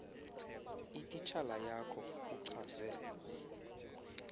itishala yakho uchaze